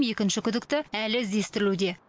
екінші күдікті әлі іздестірілуде